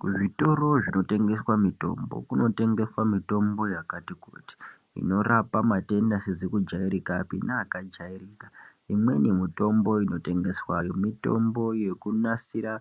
Kuzvitoro zvinotengeswe mitombo kunotengeswe mitombo yakati kuti inorapa matenda asizi kujairikapi neakajairika, imweni mitombo inotengeswayo mitombo yekunasira